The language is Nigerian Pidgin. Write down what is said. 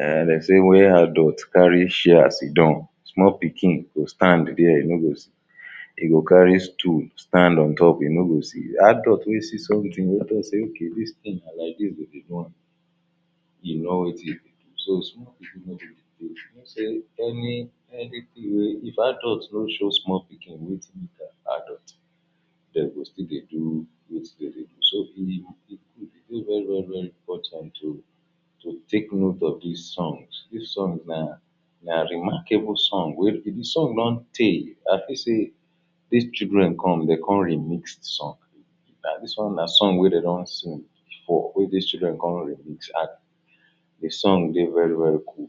um de sey where adult carry chair sit down small pikin go stand dia e no go see e go carry stool stand on top e no go see adult wey see something wey talk sey okay dis thing na like this we go do am e no wetin e be so small ipkin any anything wey if adult no show small pikin wetin be their adult dem go still dey do wetin dem dey do so he go dey very very important to to take note of dis songs, the songs na na remarkable songs wey the songs don tey i feel sey dis children come de come remix the song and the song na song wey dey don sing before wey dis children come remix add the song dey very very cool